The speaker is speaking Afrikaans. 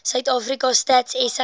suidafrika stats sa